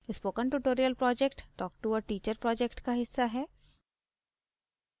spoken tutorial project talk to a teacher project का हिस्सा है